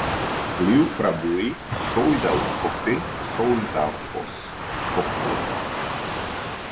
Gljúfrabúi, Sauðárkofi, Sauðárfoss, Pottur